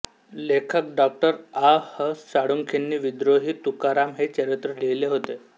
लेखक डॉ आ ह साळुंखेंनी विद्रोही तुकाराम हे चरित्र लिहिले होते